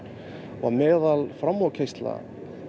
og meðal framúrkeyrsla